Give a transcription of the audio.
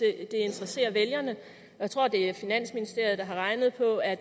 det interesserer vælgerne jeg tror det er finansministeriet der har regnet på at